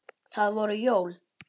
Það voru jól.